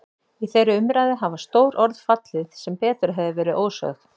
Í þeirri umræðu hafa stór orð fallið sem betur hefðu verið ósögð.